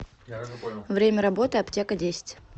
время работы аптека десять